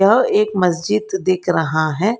यह एक मस्जिद दिख रहा है।